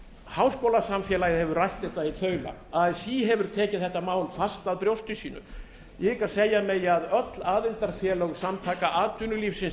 háskólasamfélagið hefur rætt þetta í þaula así hefur tekið þetta mál fast að brjósti sínu ég hygg að segja megi að allt aðildarfélög samtaka atvinnulífsins